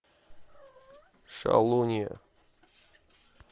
шалунья